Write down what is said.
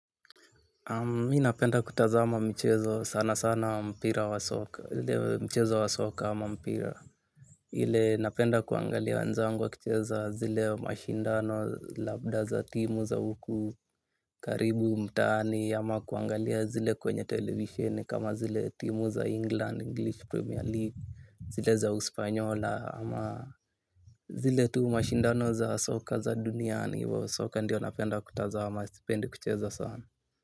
Mi napenda kutazama michezo sana sana wa mpira wa soka, zile mchezo wa soka ama mpira. Ile napenda kuangalia wenzangu wa kicheza zile mashindano labda za timu za huku karibu mtaani ama kuangalia zile kwenye televisheni kama zile timu za England, English Premier League, zile za uspanyola ama zile tu mashindano za soka za duniani, soka ndio napenda kutazama, sipendi kucheza sana.